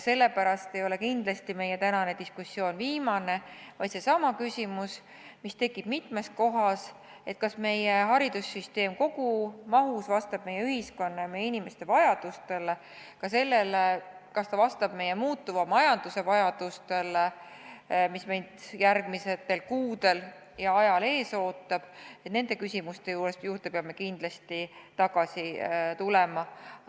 Sellepärast ei jää meie tänane diskussioon kindlasti mitte viimaseks, vaid peame nendesamade küsimuste juurde – kas meie haridussüsteem kogu mahus vastab meie ühiskonna ja inimeste vajadustele ning kas ta vastab meie muutuva majanduse vajadustele, mis meid järgmistel kuudel ees ootab – kindlasti tagasi tulema.